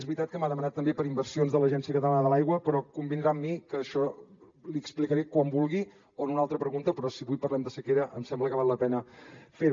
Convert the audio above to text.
és veritat que m’ha demanat també per inversions de l’agència catalana de l’aigua però convindrà amb mi que això li ho explicaré quan vulgui o en una altra pregunta però si avui parlem de sequera em sembla que val la pena fer ho